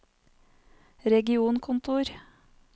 regionkontor